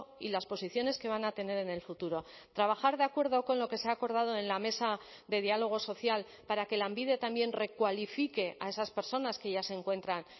y las posiciones que van a tener en el futuro trabajar de acuerdo con lo que se ha acordado en la mesa de diálogo social para que lanbide también recualifique a esas personas que ya se encuentran